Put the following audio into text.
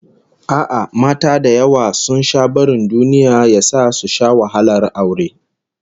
A'a, mata da yawa sun sha barin duniya ya sa su sha wahalar aure